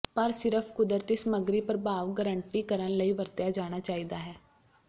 ਪਰ ਸਿਰਫ ਕੁਦਰਤੀ ਸਮੱਗਰੀ ਪ੍ਰਭਾਵ ਗਾਰੰਟੀ ਕਰਨ ਲਈ ਵਰਤਿਆ ਜਾਣਾ ਚਾਹੀਦਾ ਹੈ